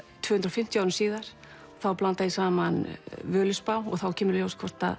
tvö hundruð og fimmtíu árum síðar og þá blanda ég saman Völuspá og þá kemur í ljós hvort